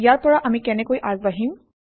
ইয়াৰ পৰা আমি কেনেকৈ আগবাঢ়িম